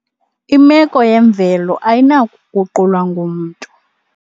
Imeko yemvelo ayinakuguqulwa ngumntu.